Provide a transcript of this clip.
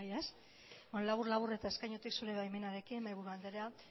beno labur labur eta eskainutik zure baimenarekin mahaiburu andrea